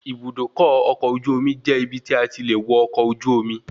Ibùdókọ̀ ọkọ̀ ojú omi jẹ́ ibi tí a ti le wọ ọkọ̀ ojú omi